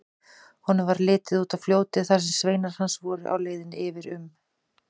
Honum varð litið út á fljótið þar sem sveinar hans voru á leiðinni yfir um.